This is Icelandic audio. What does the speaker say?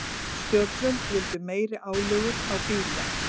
Stjórnvöld vildu meiri álögur á bíla